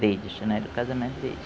deles né, do casamento deles.